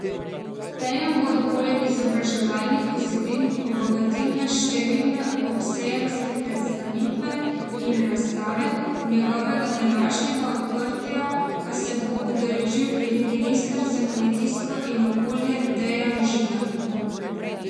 Sejem bodo poleg izobraževalnih vsebin obogatile številne obsejemske predstavitve in razstave, njegovega današnjega odprtja pa se bo udeležil tudi minister za kmetijstvo in okolje Dejan Židan.